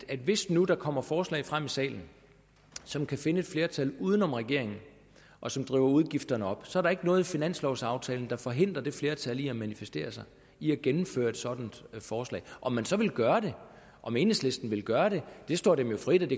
at hvis nu der kommer forslag frem i salen som kan finde et flertal uden om regeringen og som driver udgifterne op så er der ikke noget i finanslovaftalen der forhindrer det flertal i at manifestere sig i at gennemføre et sådant forslag om man så ville gøre det om enhedslisten ville gøre det står dem jo frit